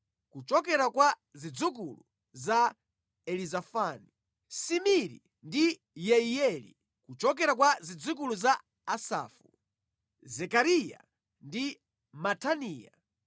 kuchokera kwa zidzukulu za Elizafani, Simiri ndi Yeiyeli; kuchokera kwa zidzukulu za Asafu, Zekariya ndi Mataniya;